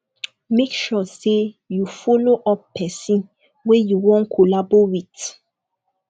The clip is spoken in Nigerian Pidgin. make sure say you follow up persin wey you won collabo with